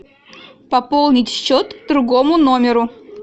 пополнить счет другому номеру